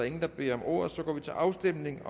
ingen der beder om ordet og så går vi til afstemning